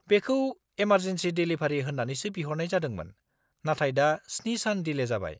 बेखौ emergency delivery होन्नानैसो बिहरनाय जादोंमोन, नाथाय दा 7 सान डिले जाबाय।